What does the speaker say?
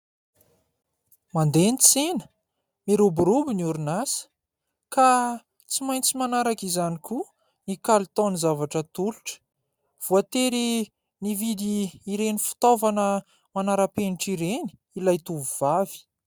Mandeha ny tsena, miroborobo ny orin'asa ka tsy maintsy manarak'izany koa ny kalitaon'ny zavatra atolotra. Voatery nividy ireny fitaovana manarapenitra ireny ilay tovovavy.